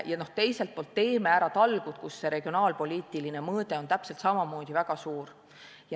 Ja teiselt poolt "Teeme ära!" talgud – sealgi on regionaalpoliitiline mõõde täpselt samamoodi väga suur.